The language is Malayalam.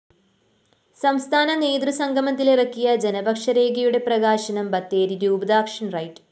സംസ്ഥാന നേതൃസംഗമത്തില്‍ ഇറക്കിയ ജനപക്ഷരേഖയുടെ പ്രകാശനം ബത്തേരി രൂപതാക്ഷന്‍ റൈറ്റ്‌